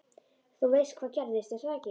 Þú veist hvað gerðist, er það ekki?